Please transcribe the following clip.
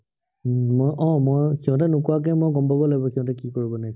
উম মই আহ মই সিহঁতে নোকোৱাকে মই গম পাব লাগিব, সিহঁতে কি কৰিব লাগিব।